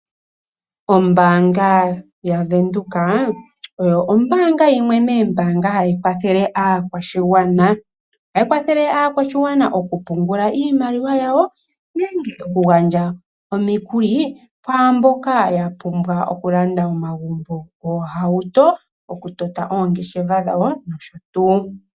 Ombaanga yaVEnduka oyo ombaanga yimwe moombaanga hayi kwathele aakwashigwana. Ohayi kwathele aakwashigwana okupungula iimaliwa yawo nenge okugandja omikuli kwaa mboka ya pumbwa okulanda omagumbo, oohauto, okutota oongeshefa dhawo nosho tuu.